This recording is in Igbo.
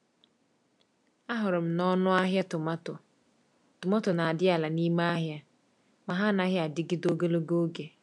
Ahụrụ m na ọnụ ahịa tomato tomato n'adị ala n'ime ahịa, ma ha anaghị adịgide ogologo oge.